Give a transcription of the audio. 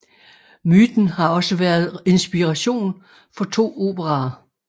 Myten har også været inspiration for to operaer